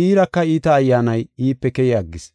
Iiraka iita ayyaanay iipe keyi aggis.